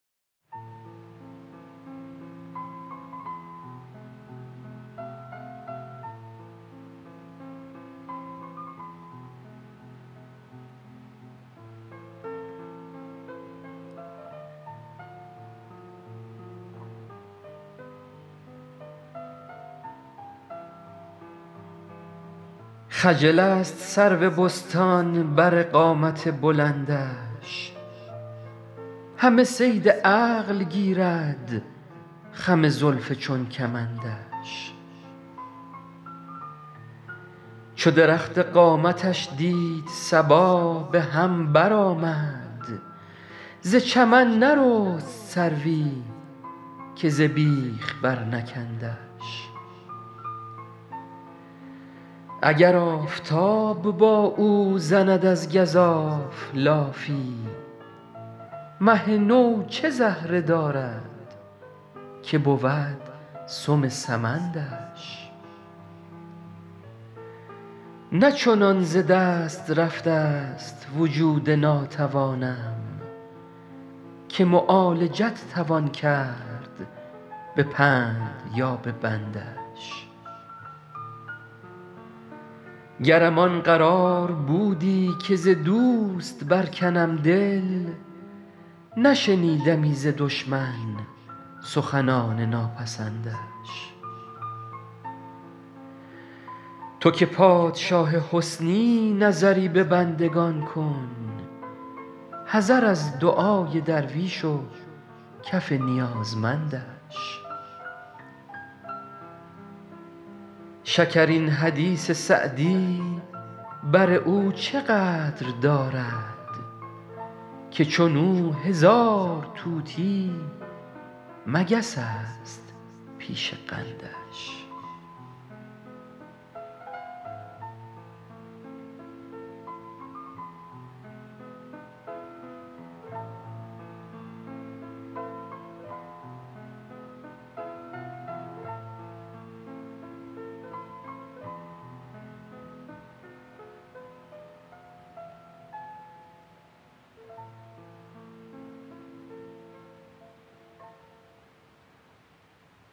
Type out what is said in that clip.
خجل است سرو بستان بر قامت بلندش همه صید عقل گیرد خم زلف چون کمندش چو درخت قامتش دید صبا به هم برآمد ز چمن نرست سروی که ز بیخ برنکندش اگر آفتاب با او زند از گزاف لافی مه نو چه زهره دارد که بود سم سمندش نه چنان ز دست رفته ست وجود ناتوانم که معالجت توان کرد به پند یا به بندش گرم آن قرار بودی که ز دوست برکنم دل نشنیدمی ز دشمن سخنان ناپسندش تو که پادشاه حسنی نظری به بندگان کن حذر از دعای درویش و کف نیازمندش شکرین حدیث سعدی بر او چه قدر دارد که چون او هزار طوطی مگس است پیش قندش